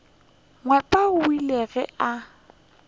nyepo o ile ge a